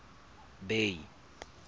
bay